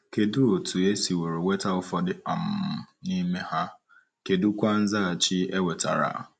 Kedụ otú e siworo nweta ụfọdụ um n’ime ha, kedụkwa nzaghachi e nwetara?